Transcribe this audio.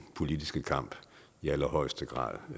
politiske kamp i allerhøjeste grad